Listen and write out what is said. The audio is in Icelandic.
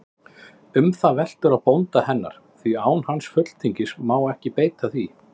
Um það veltur á bónda hennar, því án hans fulltingis má ekki beita því.